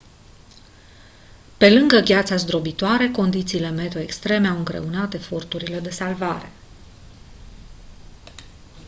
pe lângă gheața zdrobitoare condițiile meteo extreme au îngreunat eforturile de salvare